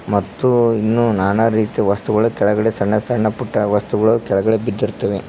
ಮತ್ತು ಇನ್ನು ನಾನಾ ರೀತಿಯ ವಸ್ತುಗಳು ಕೆಳಗಡೆ ಸಣ್ಣ ಸಣ್ಣ ಪುಟ್ಟ ವಸ್ತುಗಳು ಕೆಳಗೆ ಬಿದ್ದಿರ್ತಾವೆ.